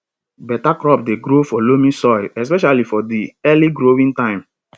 better crop dey grow for loamy soil especially for di early growing time